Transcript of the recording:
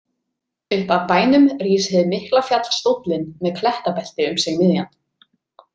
Upp af bænum rís hið mikla fjall Stóllinn með klettabelti um sig miðjan.